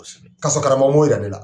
Ka sɔrɔ karamɔgɔ m'o yira ne la.